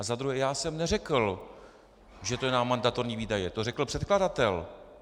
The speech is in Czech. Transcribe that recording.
A za druhé já jsem neřekl, že to je na mandatorní výdaje, to řekl předkladatel.